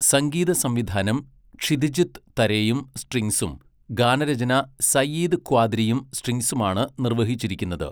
സംഗീതസംവിധാനം ക്ഷിതിജ് തരെയും സ്ട്രിങ്സും ഗാനരചന സഈദ് ക്വാദ്രിയും സ്ട്രിങ്സുമാണ് നിർവ്വഹിച്ചിരിക്കുന്നത്.